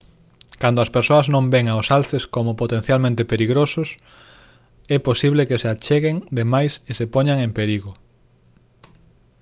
cando as persoas non ven aos alces como potencialmente perigosos é posible que se acheguen de máis e se poñan en perigo